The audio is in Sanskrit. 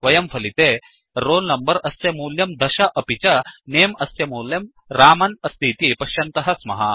वयं फलिते roll number अस्य मूल्यं दश अपि च नमे अस्य मूल्यम् रामन् अस्तीति पश्यन्तः स्मः